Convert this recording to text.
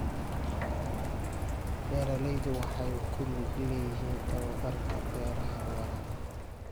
Beeraleydu waxay ku lug leeyihiin tababbarka beeraha waara.